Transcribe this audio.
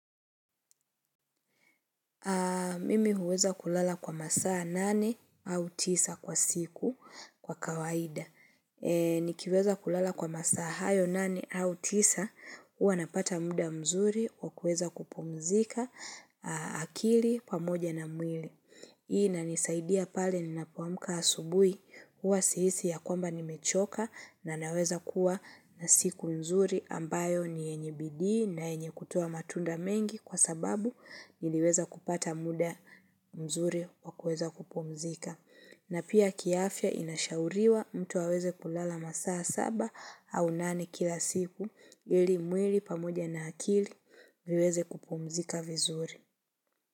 Mimi huweza kulala kwa masaa nane au tisa kwa siku kwa kawaida. Nikiweza kulala kwa masaa hayo nane au tisa huwa napata muda mzuri wa kuweza kupumzika akili pamoja na mwili. Hii na nisaidia pale ninapoamka asubuhi huwa sihisi ya kwamba nimechoka na naweza kuwa na siku mzuri ambayo ni yenye bidii na yenye kutoa matunda mengi kwa sababu niliweza kupata muda mzuri wa kuweza kupumzika. Na pia kiafya inashauriwa mtu aweze kulala masaa saba au nane kila siku ili mwili pamoja na akili viweze kupumzika vizuri.